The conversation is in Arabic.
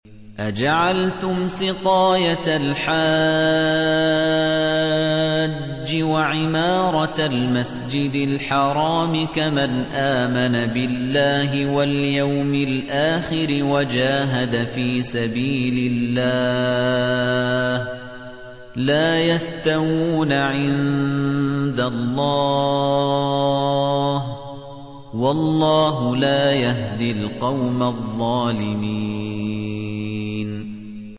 ۞ أَجَعَلْتُمْ سِقَايَةَ الْحَاجِّ وَعِمَارَةَ الْمَسْجِدِ الْحَرَامِ كَمَنْ آمَنَ بِاللَّهِ وَالْيَوْمِ الْآخِرِ وَجَاهَدَ فِي سَبِيلِ اللَّهِ ۚ لَا يَسْتَوُونَ عِندَ اللَّهِ ۗ وَاللَّهُ لَا يَهْدِي الْقَوْمَ الظَّالِمِينَ